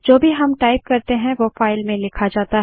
जो भी हम टाइप करते हैं वो फाइल में लिखा जाता है